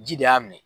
Ji de y'a minɛ